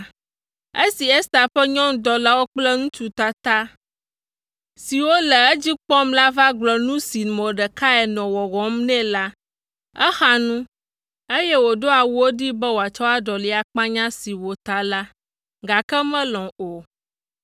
Esi Ester ƒe nyɔnudɔlawo kple ŋutsu tata siwo le edzi kpɔm la va gblɔ nu si Mordekai nɔ wɔwɔm nɛ la, exa nu, eye wòɖo awuwo ɖee be wòatsɔ aɖɔli akpanya si wòta la, gake melɔ̃ o.